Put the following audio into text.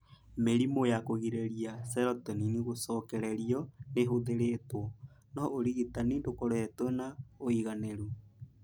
Mĩrimũ ya kũgiria serotonin gũcokererio nĩ ĩhũthĩrĩtwo, no ũrigitani ndũkoretwo na ũigananĩru.